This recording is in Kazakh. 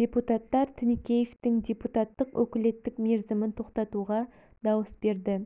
депутаттар тінікеевтің депутаттық өкілеттік мерзімін тоқтатуға дауыс берді